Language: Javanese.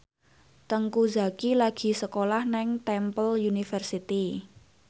Teuku Zacky lagi sekolah nang Temple University